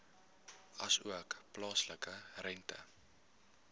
asook plaaslike rente